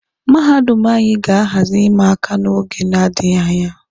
Mahadum anyị ga-ahazi ịma aka n'oge na-adịghi anya.